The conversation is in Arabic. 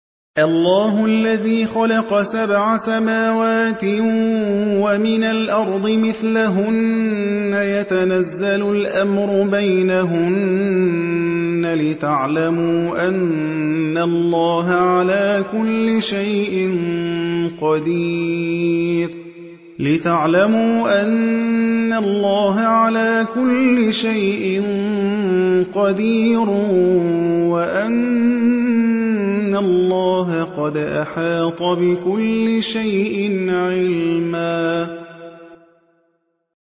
اللَّهُ الَّذِي خَلَقَ سَبْعَ سَمَاوَاتٍ وَمِنَ الْأَرْضِ مِثْلَهُنَّ يَتَنَزَّلُ الْأَمْرُ بَيْنَهُنَّ لِتَعْلَمُوا أَنَّ اللَّهَ عَلَىٰ كُلِّ شَيْءٍ قَدِيرٌ وَأَنَّ اللَّهَ قَدْ أَحَاطَ بِكُلِّ شَيْءٍ عِلْمًا